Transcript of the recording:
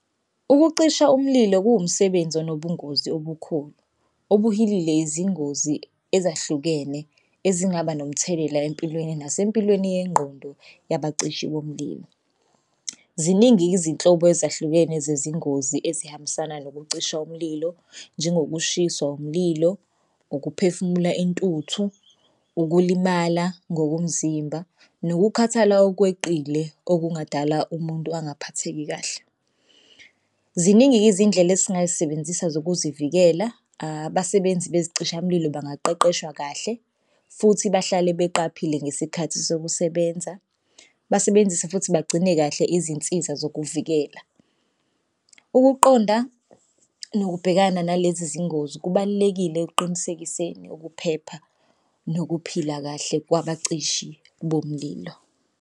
Ukucisha umlilo kuwumsebenzi anobungozi obukhulu obuhilile izingozi ezahlukene ezingaba nomthelela empilweni nasempilweni yengqondo yaba cishi bomlilo. Ziningi izinhlobo ezahlukene zezingozi ezihambisana nokuncisha umlilo njengoba kushiswa umlilo, ukuphefumula intuthu, ukulimala ngokomzimba, nokukhathala okweqile okungadala umuntu angaphatheki kahle. Ziningi-ke izindlela esingayisebenzisa zokuzivikela abasebenzi bezicishamlilo bangaqeqeshwa kahle futhi bahlale beqaphile ngesikhathi sokusebenza, basebenzise futhi bagcine kahle izinsiza zokuvikela. Ukuqonda nokubhekana nalezi zingozi kubalulekile ekuqinisekiseni ukuphepha nokuphila kahle kwabacishi bomlilo.